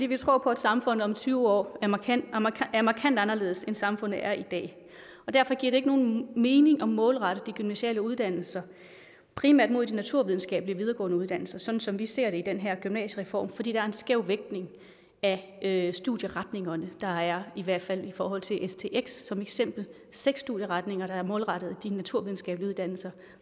vi tror på at samfundet om tyve år er markant anderledes end samfundet er i dag og derfor giver det ikke nogen mening at målrette de gymnasiale uddannelser primært mod de naturvidenskabelige videregående uddannelser sådan som vi ser det i den her gymnasiereform fordi der er en skæv vægtning af studieretningerne der er i hvert fald i forhold til stx som eksempel seks studieretninger der er målrettet de naturvidenskabelige uddannelser